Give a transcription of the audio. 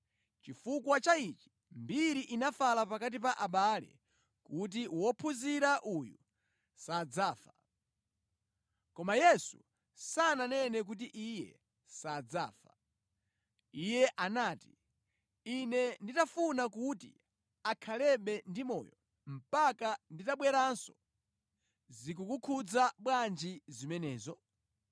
Chifukwa cha ichi mbiri inafala pakati pa abale kuti wophunzira uyu sadzafa. Koma Yesu sananene kuti iye sadzafa. Iye anati, “Ine nditafuna kuti akhalebe ndi moyo mpaka nditabweranso, zikukukhudza bwanji zimenezo?”